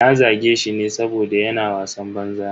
Na zage shi ne saboda yana wasan banza.